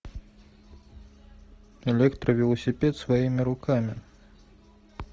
электровелосипед своими руками